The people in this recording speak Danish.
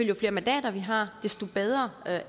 jo flere mandater vi har desto bedre